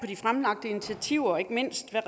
de fremlagte initiativer og ikke mindst på